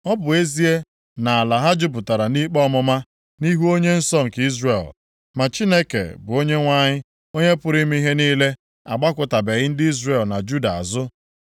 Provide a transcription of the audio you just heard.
Ọ bụ ezie nʼala ha jupụtara nʼikpe ọmụma, nʼihu Onye nsọ nke Izrel, ma Chineke bụ Onyenwe anyị, Onye pụrụ ime ihe niile agbakụtabeghị ndị Izrel na Juda azụ.